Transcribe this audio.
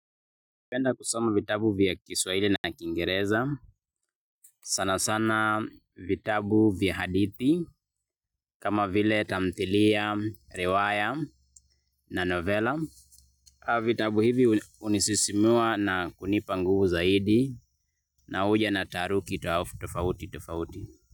Napenda kusoma vitabu vya Kiswahili na kingereza. Sana sana vitabu vya hadithi. Kama vile tamthilia, riwaya na novella. Vitabu hivi hunisisimua na kunipa nguvu zaidi. Na huja na taharuki tofauti tofauti.